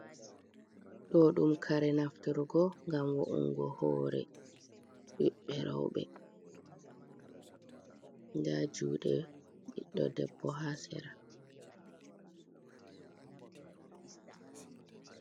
Ɗo ɗum kare naftirgo ngam wa’ungo hore ɓiɓɓe reɓe nda jude ɓiɗɗo debbo ha sera.